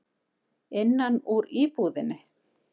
Innan úr íbúðinni.